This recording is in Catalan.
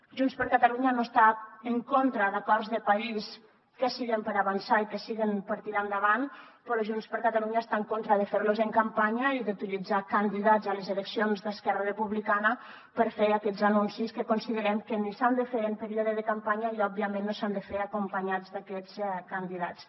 junts per catalunya no està en contra d’acords de país que siguin per avançar i que siguin per tirar endavant però junts per catalunya està en contra de fer los en campanya i d’utilitzar candidats a les eleccions d’esquerra republicana per fer aquests anuncis que considerem que ni s’han de fer en període de campanya i òbviament no s’han de fer acompanyats d’aquests candidats